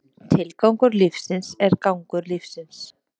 Tilgangur lífsins er gangur lífsins.